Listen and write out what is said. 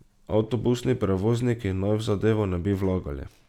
Avtobusni prevozniki naj v zadevo ne bi vlagali.